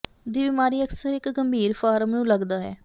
ਦੀ ਬਿਮਾਰੀ ਅਕਸਰ ਇੱਕ ਗੰਭੀਰ ਫਾਰਮ ਨੂੰ ਲੱਗਦਾ ਹੈ